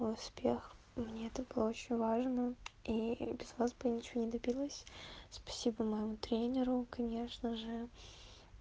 успех мне это было очень важно и без вас бы ничего не добилась спасибо моему тренеру конечно же